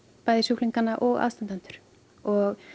sjúklinga og aðstandendur og